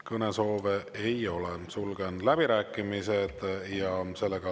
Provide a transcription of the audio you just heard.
Kõnesoove ei ole, sulgen läbirääkimised.